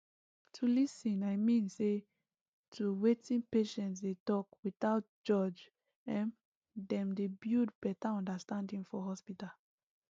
to lis ten i mean say to wetin patient dey talk without judge um dem dey build better understanding for hospital